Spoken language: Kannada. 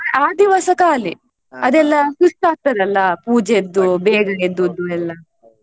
ಆ ದಿವಸ ಖಾಲಿ ಅದೆಲ್ಲಾ ಸುಸ್ತಾಗ್ತದಲ್ಲ ಪೂಜೆಯದ್ದು ಬೇಗ ಎದ್ದದ್ದು ಎಲ್ಲ.